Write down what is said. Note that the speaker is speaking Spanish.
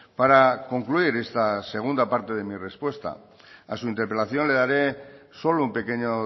para concluir esta segunda parte de mi respuesta a su interpelación le daré solo un pequeño